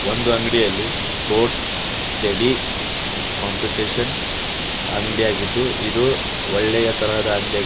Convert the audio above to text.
ಒಂದು ಅಂಗಡಿಯಲ್ಲಿ sports steady competition ಅಂಗಡಿಯಾಗಿದ್ದು ಇದು ಒಳ್ಳೆಯ ತರಹದ ಅಂಗಡಿಯಾಗಿ --